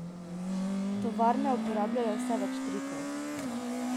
Tovarne uporabljajo vse več trikov.